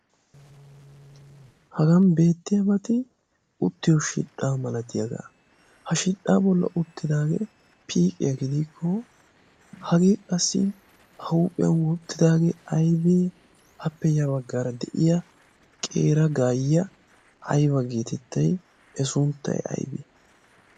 Hagan beettiyaabati uttiyo shidhdhaa malatiyaagaa ha shidhdhaa bollan uttidaagee piiqiyaa gidikko hagee qassi a huuphiyan wottidoogee aybee? Appe yaa baggaara de'iya qeera gaayyya ayba geetettay I sunttay aybii?